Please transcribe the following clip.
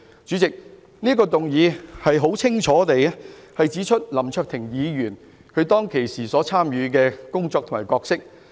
主席，我這項議案清楚指出了林卓廷議員當時參與的活動及其角色為何。